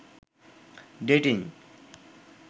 dating